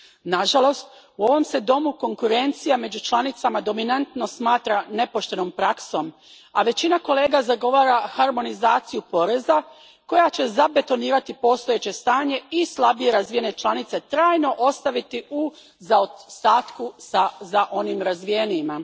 Nažalost, u ovom se domu konkurencija među članicama dominantno smatra nepoštenom praksom, a većina kolega zagovara harmonizaciju poreza koja će zabetonirati postojeće stanje i slabije razvijene članice trajno ostaviti u zaostatku za onim razvijenijima.